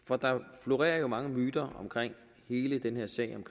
for der florerer jo mange myter i hele den her sag om